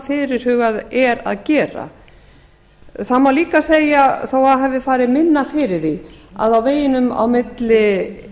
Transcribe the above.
fyrirhugað er að gera það má líka segja þó að minna hafi farið fyrir því að á veginum á milli